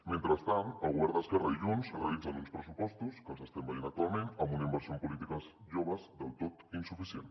mentrestant el govern d’esquerra i junts realitzen uns pressupostos que els estem veient actualment amb una inversió en polítiques joves del tot insuficient